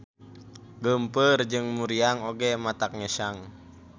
Geumpeur jeung muriang oge matak ngesang.